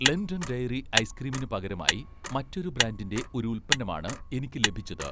London dairy ഐസ്ക്രീമിനു പകരമായി മറ്റൊരു ബ്രാൻഡിന്‍റെ ഒരു ഉൽപ്പന്നമാണ് എനിക്ക് ലഭിച്ചത്